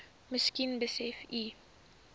miskien besef u